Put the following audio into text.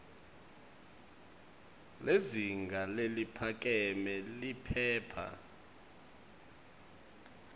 lizinga leliphakeme liphepha